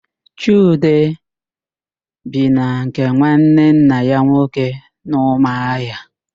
Chude bi na nke nwanne nna ya nwoke n'Ụmụahịa